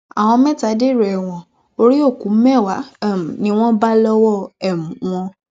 àwọn mẹta dèrò ẹwọn orí òkú mẹwàá um ni wọn bá lọwọ um wọn